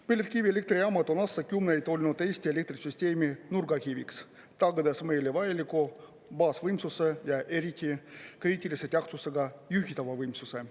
Põlevkivielektrijaamad on aastakümneid olnud Eesti elektrisüsteemi nurgakiviks, tagades meile vajaliku baasvõimsuse ja eriti kriitilise tähtsusega juhitava võimsuse.